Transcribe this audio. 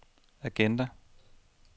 agenda